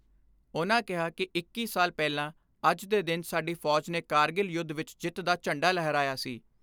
ਉਨ੍ਹਾਂ ਕਿਹਾ ਕਿ ਇੱਕੀ ਸਾਲ ਪਹਿਲਾਂ ਅੱਜ ਦੇ ਦਿਨ ਸਾਡੀ ਫੌਜ ਨੇ ਕਾਰਗਿਲ ਯੁੱਧ ਵਿੱਚ ਜਿੱਤ ਦਾ ਝੰਡਾ ਲਹਿਰਾਇਆ ਸੀ।